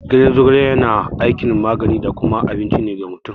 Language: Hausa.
Ganyen zogale yana aikin magani da kuma abinci ne ga mutum.